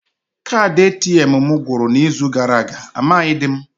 Kaadị ATM m gwụrụ n'izu gara aga, amaghịdị m